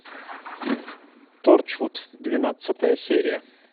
торчвуд двенадцатая серия